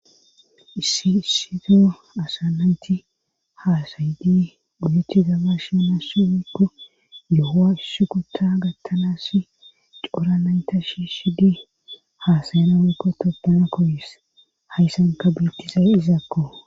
Issi issizo asanayti haasayidi guyechi gaba shinassi okko yoowa issu kuta gattanas coranayta shi shidi haasayana wuikko topuna koyis hayssanka beettizay izaakko